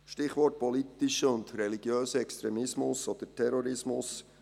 Stichwort: Politischer oder religiöser Extremismus oder Terrorismus.